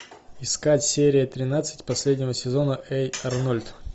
искать серия тринадцать последнего сезона эй арнольд